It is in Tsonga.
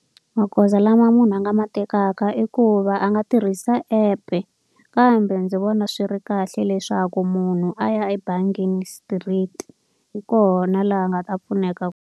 Magoza lama munhu a nga ma tekaka i ku va a nga tirhisa app-e. Kambe ndzi vona swi ri kahle leswaku munhu a ya ebangini straight, hi kona laha a nga ta pfuneka.